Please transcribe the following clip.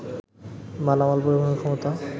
মালামাল পরিবহনের ক্ষমতা